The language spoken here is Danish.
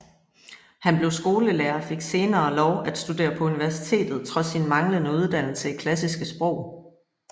Han blev skolelærer og fik senere lov at studere på universitetet trods sin manglende uddannelse i klassiske sprog